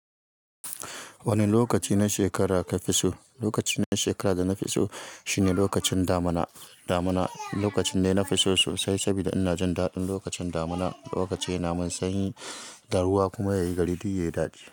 Wane lokaci na shekara ka fi so? Lokaci na shekara da na fi so shine lokacin damina. Damina lokacin ne na fi so sosai saboda ina jin daɗin lokacin damina. Lokaci ne na masanyi, taruwa kuma yayi gari duk yayi dadi.